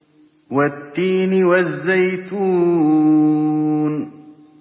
وَالتِّينِ وَالزَّيْتُونِ